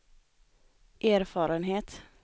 erfarenhet